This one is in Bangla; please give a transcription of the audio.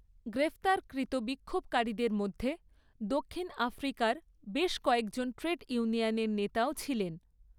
গ্রেফতারকৃত বিক্ষোভকারীদের মধ্যে দক্ষিণ আফ্রিকার বেশ কয়েকজন ট্রেড ইউনিয়নের নেতাও ছিলেন।